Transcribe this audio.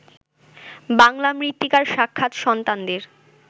বাঙলা মৃত্তিকার সাক্ষাৎ সন্তানদের